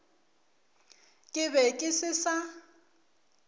ke be ke se sa